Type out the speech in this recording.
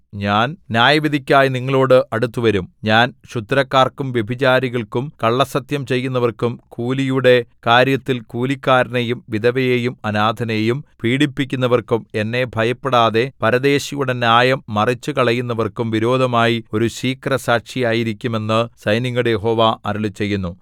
ഞാൻ ന്യായവിധിക്കായി നിങ്ങളോട് അടുത്തുവരും ഞാൻ ക്ഷുദ്രക്കാർക്കും വ്യഭിചാരികൾക്കും കള്ളസ്സത്യം ചെയ്യുന്നവർക്കും കൂലിയുടെ കാര്യത്തിൽ കൂലിക്കാരനെയും വിധവയെയും അനാഥനെയും പീഡിപ്പിക്കുന്നവർക്കും എന്നെ ഭയപ്പെടാതെ പരദേശിയുടെ ന്യായം മറിച്ചുകളയുന്നവർക്കും വിരോധമായി ഒരു ശീഘ്രസാക്ഷിയായിരിക്കും എന്നു സൈന്യങ്ങളുടെ യഹോവ അരുളിച്ചെയ്യുന്നു